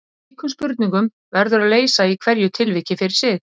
Úr slíkum spurningum verður að leysa í hverju tilviki fyrir sig.